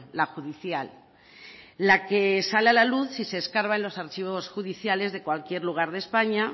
la judicial la que sale a la luz si se escarba en los archivos judiciales de cualquier lugar de españa